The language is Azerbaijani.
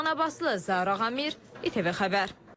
Ləman Abbaslı, Zaur Ağamir, İTV Xəbər.